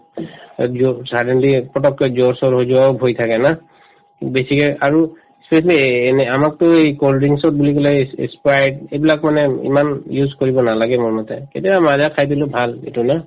suddenly ফটককে জ্বৰ চৰ হৈ যোৱাও ভয় থাকে না বেছিকে আৰু specially এএ এনে আমাকতো এই cold drinks ত পেলাই ss sprite এইবিলাক মানে ইমান use কৰিব নালাগে মোৰমতে কেতিয়াবা মাজা খাই দিলো ভাল এইটো না